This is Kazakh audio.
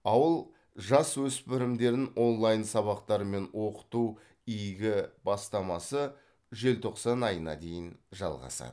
ауыл жасөспірімдерін онлайн сабақтарымен оқыту игу бастамасы желтоқсан айына дейін жалғасады